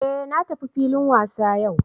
Eh na tafi filin wasa yau